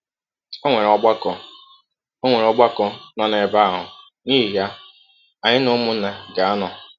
Ọnwere Ọgbakọ Ọnwere Ọgbakọ nọ n’ebe ahụ, n’ihi ya anyị na ụmụnna ga - anọ.